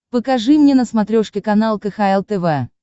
покажи мне на смотрешке канал кхл тв